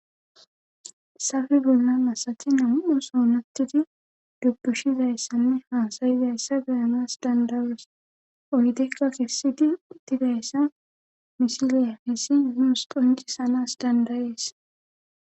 safi bollan asati nam7u soonattiti dubbushizayessanne hasayizayssa geyanas dandawes oydekka kifsidi uttidayessa misiliya hessi mi us qonci sanas dandayees